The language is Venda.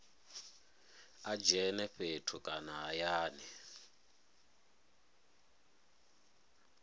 a dzhene fhethu kana hayani